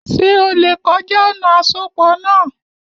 Ṣé o lè kọjá ọ̀nà àsopọ̀ náà?